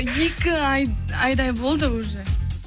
екі ай айдай болды уже